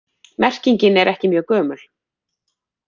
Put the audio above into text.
Merkingin er ekki mjög gömul.